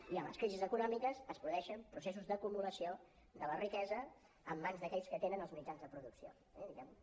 i en les crisis econòmiques es produeixen processos d’acumulació de la riquesa en mans d’aquells que tenen els mitjans de producció eh diguem ne